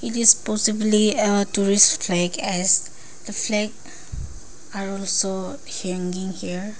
this possibly a tourist flags as the flag are also hanging here.